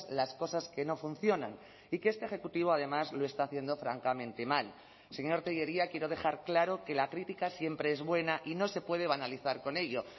las cosas que no funcionan y que este ejecutivo además lo está haciendo francamente mal señor tellería quiero dejar claro que la crítica siempre es buena y no se puede banalizar con ello